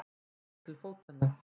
Ég tók til fótanna.